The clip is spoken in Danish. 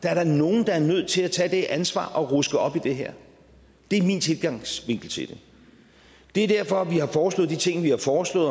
er da nogen der er nødt til at tage det ansvar og ruske op i det her det er min tilgangsvinkel til det det er derfor vi har foreslået de ting vi har foreslået